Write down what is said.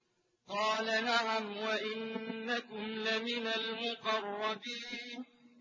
قَالَ نَعَمْ وَإِنَّكُمْ لَمِنَ الْمُقَرَّبِينَ